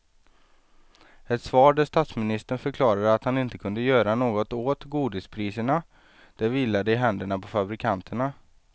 Ett svar där statsministern förklarade att han inte kunde göra något åt godispriserna, det vilade i händerna på fabrikanterna.